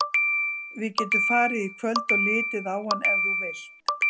Við getum farið í kvöld og litið á hann ef þú vilt.